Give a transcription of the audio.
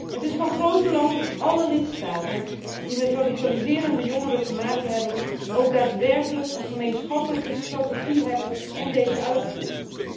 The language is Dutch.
Het is van groot belang dat alle lidstaten die met radicaliserende jongeren te maken hebben, ook daadwerkelijk een gemeenschappelijke strategie hebben en uitvoeren.